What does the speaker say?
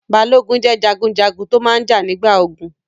Balógun jẹ́ jagunjagun tó máa n jà nígbà ogun